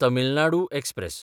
Tamil Nadu express